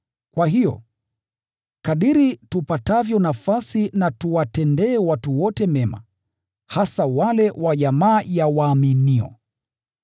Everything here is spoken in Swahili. Kwa hiyo, kadiri tupatavyo nafasi na tuwatendee watu wote mema, hasa wale wa jamaa ya waaminio.